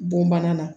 Bon bana na